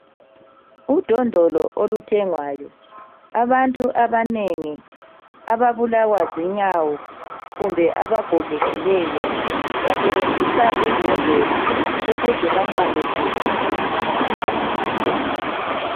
Udondolo oluthengwayo abantu ababulawa zinyawo kumbe abagogekileyo basebenzisa udondolo ukuze bahambe kuhle.